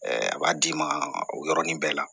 a b'a d'i ma o yɔrɔnin bɛɛ la